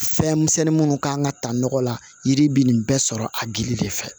Fɛn misɛnnin minnu kan ka ta nɔgɔ la yiri bɛ nin bɛɛ sɔrɔ a gili de fɛ